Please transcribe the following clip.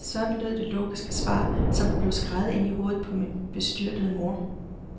Sådan lød det logiske svar, som blev skreget ind i hovedet på min bestyrtede mor.